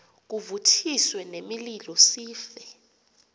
kuvuthiswe nemililo sife